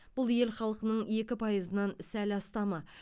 бұл ел халқының екі пайызынан сәл астамы